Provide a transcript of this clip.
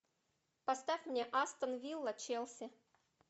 поставь мне астон вилла челси